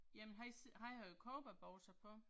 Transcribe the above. Jamen han, han har jo cowboybukser på